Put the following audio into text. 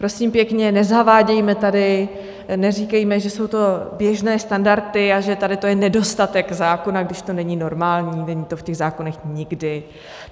Prosím pěkně nezavádějme tady, neříkejme, že jsou to běžné standardy a že tady to je nedostatek zákona, když to není normální, není to v těch zákonech nikdy.